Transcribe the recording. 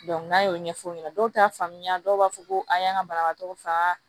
n'a y'o ɲɛfɔ o ɲɛna dɔw t'a faamuya dɔw b'a fɔ ko an y'an ka banabagatɔw faga